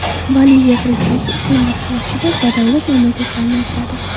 Boliviya prezidenti iqlim o‘zgarishida badavlat mamlakatlarni aybladi.